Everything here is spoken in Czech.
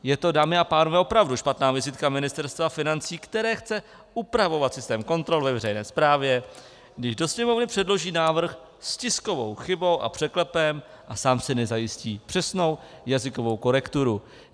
Je to, dámy a pánové, opravdu špatná vizitka Ministerstva financí, které chce upravovat systém kontrol ve veřejné správě, když do Sněmovny předloží návrh s tiskovou chybou a překlepem a sám si nezajistí přesnou jazykovou korekturu.